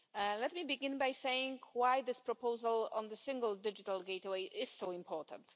Let me begin by saying why this proposal on the single digital gateway is so important.